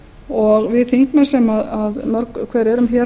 og við þingmenn sem mörg hver erum hér